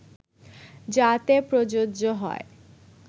যাতে প্রযোজ্য হয়